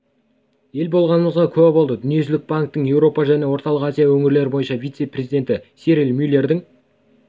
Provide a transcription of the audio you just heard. ел болғанымызға куә болды дүниежүзілік банктің еуропа және орталық азия өңірлері бойынша вице-президенті сирил мюллердің